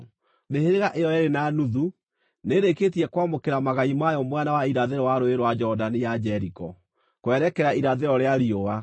Mĩhĩrĩga ĩyo yeerĩ na nuthu nĩĩrĩkĩtie kwamũkĩra magai mayo mwena wa irathĩro wa Rũũĩ rwa Jorodani ya Jeriko, kwerekera irathĩro rĩa riũa.”